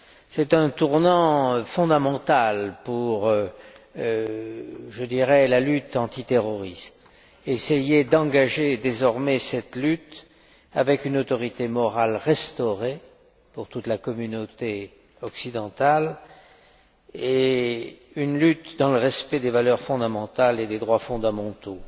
C'est un tournant fondamental pour la lutte antiterroriste nous devons essayer d'engager désormais cette lutte avec une autorité morale restaurée pour toute la communauté occidentale, une lutte dans le respect des valeurs fondamentales et des droits fondamentaux.